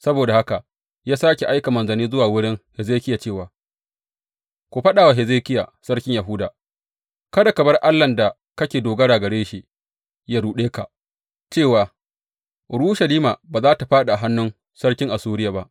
Saboda haka ya sāke aika manzanni zuwa wurin Hezekiya cewa, Ku faɗa wa Hezekiya sarkin Yahuda, kada ka bar allahn da kake dogara gare shi yă ruɗe ka cewa, Urushalima ba za tă fāɗi a hannun sarkin Assuriya ba.’